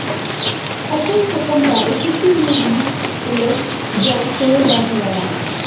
ਅਸਲ ਰਕਮ ਬਾਰੇ ਕਿਸੇ ਨੂੰ ਵੀ ਇਲਮ ਨਾ ਹੋਣ ਦਾ ਦਾਅਵਾ